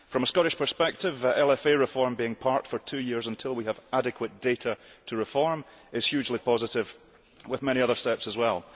From a Scottish perspective, LFA reform being parked for two years until we have adequate data to reform is hugely positive, with many other steps as well.